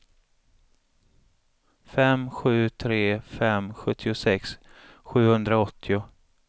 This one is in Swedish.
fem sju tre fem sjuttiosex sjuhundraåttio